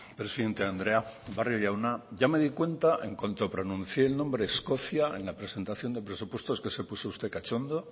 presidente andrea barrio jauna ya me di cuenta en cuanto pronuncié el nombre escocia en la presentación de presupuestos que se puso usted cachondo